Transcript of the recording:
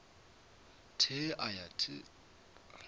th e a ya th